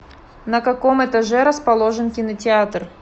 на каком этаже расположен кинотеатр